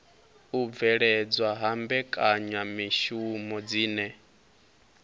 u bveledzwa ha mbekanyamishumo dzine